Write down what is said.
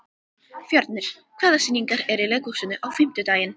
Fjörnir, hvaða sýningar eru í leikhúsinu á fimmtudaginn?